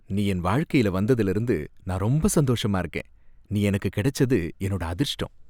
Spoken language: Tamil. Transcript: நீ என் வாழ்க்கையில வந்ததுல இருந்து நான் ரொம்ப சந்தோஷமா இருக்கேன். நீ எனக்கு கிடைச்சது என்னோட அதிர்ஷ்டம்.